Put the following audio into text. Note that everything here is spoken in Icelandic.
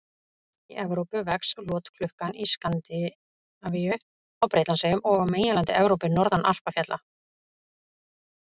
Í Evrópu vex lotklukkan í Skandinavíu, á Bretlandseyjum og á meginlandi Evrópu, norðan Alpafjalla.